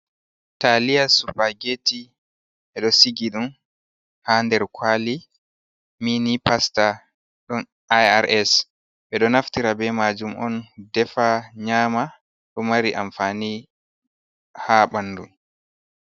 Taliya surpageti bedo sigi dum ha nder kwali ,mini pasta don irs ɓedo naftira be majum on defa nyama do mari amfani ha bandu.